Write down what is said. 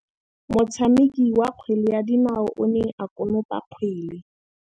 Motshameki wa kgwele ya dinaô o ne a konopa kgwele.